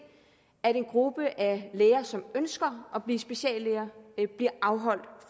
at en gruppe af læger som ønsker at blive speciallæger bliver afholdt